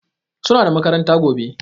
Suna da makaranta gobe